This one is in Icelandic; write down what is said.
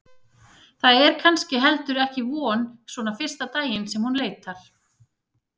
Það er kannski heldur ekki von svona fyrsta daginn sem hún leitar.